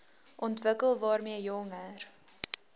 ontwikkel waarmee jonger